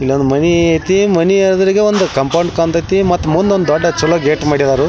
ಇಲ್ಲೊಂದು ಮಣಿ ಅಯ್ತಿಮನಿ ಎದುರಿಗೆ ಕಾಂಪೌಂಡ್ ಕಾಂತೈತಿ ಮುಂದೆ ಒಂದು ಚಲೋ ಗೇಟ್ ಮಾಡ್ಯಾರು.